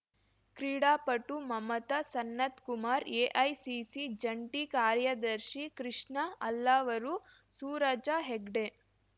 ಕ್ರೀಡಾ ಪಟು ಮಮತಾ ಸನತ್‌ಕುಮಾರ್‌ ಎಐಸಿಸಿ ಜಂಟಿ ಕಾರ್ಯದರ್ಶಿ ಕೃಷ್ಣ ಅಲ್ಲಾವರು ಸೂರಜ ಹೆಗ್ಡೆ